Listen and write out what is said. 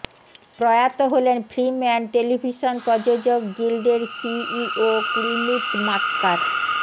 প্রয়াত হলেন film and television প্রযোজক গিল্ডের সিইও কুলমিত মাক্কার